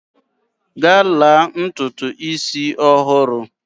Gaa la ntutu isi ọhụrụ!